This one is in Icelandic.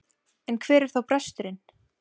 En hvar er þá bresturinn?